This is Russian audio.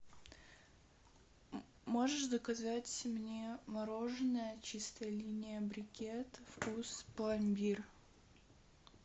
можешь заказать мне мороженое чистая линия брекет вкус пломбир